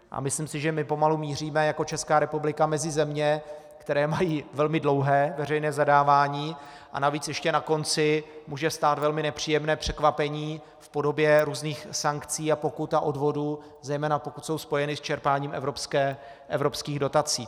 A myslím si, že my pomalu míříme jako Česká republika mezi země, které mají velmi dlouhé veřejné zadávání, a navíc ještě na konci může stát velmi nepříjemné překvapení v podobě různých sankcí a pokut a odvodů, zejména pokud jsou spojeny s čerpáním evropských dotací.